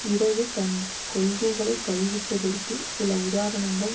இடது தன் கொள்கைகளை கைவிட்டதற்கு சில உதாரணங்கள்